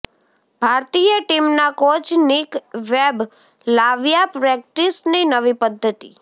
ભારતીય ટીમના coach Nick Webb લાવ્યા પ્રેક્ટિસની નવી પદ્ધતિ